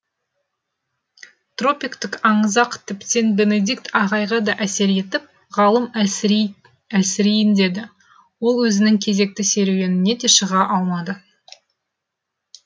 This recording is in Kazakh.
тропиктік аңызақ тіптен бенедикт ағайға да әсер етіп ғалым әлсірейін деді ол өзінің кезекті серуеніне де шыға алмады